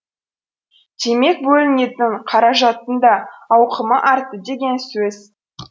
демек бөлінетін қаражаттың да ауқымы артты деген сөз